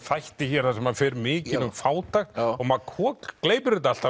þætti hér þar sem hann fer mikinn um fátækt og maður kokgleypir þetta allt